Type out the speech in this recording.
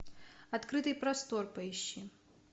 открытый простор поищи